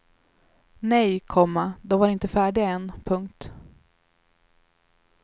Nej, komma de var inte färdiga än. punkt